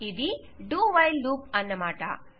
ఇది do while loop అన్నమాట